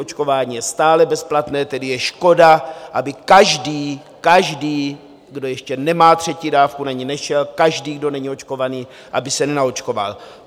Očkování je stále bezplatné, tedy je škoda, aby každý - každý, kdo ještě nemá třetí dávku - na ni nešel, každý, kdo není očkovaný, aby se nenaočkoval.